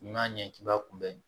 N'i y'a ɲɛ k'i b'a kunbɛ